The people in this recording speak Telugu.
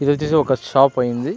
ఇది వచ్చేసి ఒక షాప్ అయింది.